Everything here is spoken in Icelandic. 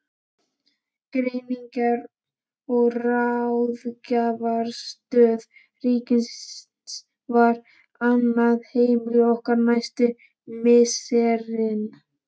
Greiningar- og ráðgjafarstöð ríkisins varð annað heimili okkar næstu misserin.